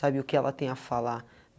Sabe o que ela tem a falar?